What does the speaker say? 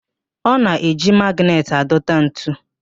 Ọ na-eji magịnetị adọta ntu